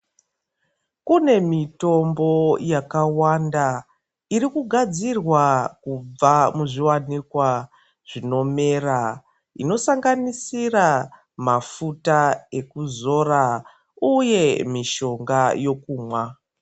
Kune mitombo yakawanda irikugadzirwa kubva muzviwanikwa zvinomera inosanganisira mafuta ekuzora uye mishonga yekumwa.